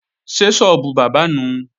Ṣé sọ́ọ́bù bábà nùu?